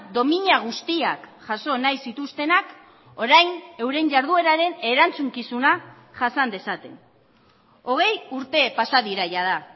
domina guztiak jaso nahi zituztenak orain euren jardueraren erantzukizuna jasan dezaten hogei urte pasa dira jada